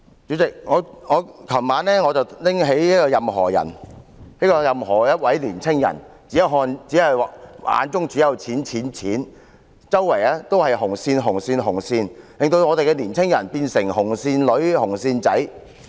主席，我昨晚拿起"任何仁"，他是任何一位年青人，眼中只有錢、錢、錢，周圍都是紅線、紅線、紅線，令我們的年青人變成"紅線女"和"紅線仔"。